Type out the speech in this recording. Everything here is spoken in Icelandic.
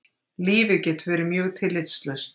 Lífið getur verið mjög tillitslaust.